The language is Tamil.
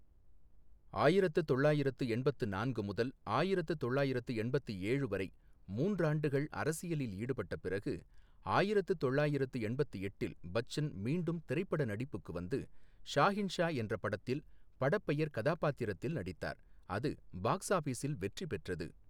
ஆயிரத்து தொள்ளாயிரத்து எண்பத்து நான்கு முதல் ஆயிரத்து தொள்ளாயிரத்து எண்பத்து ஏழு வரை மூன்றாண்டுகள் அரசியலில் ஈடுபட்ட பிறகு, ஆயிரத்து தொள்ளாயிரத்து எண்பத்து எட்டில் பச்சன் மீண்டும் திரைப்பட நடிப்புக்கு வந்து ஷாஹின்ஷா என்ற படத்தில் படப்பெயர் கதாபாத்திரத்தில் நடித்தார், அது பாக்ஸ் ஆபீஸில் வெற்றி பெற்றது.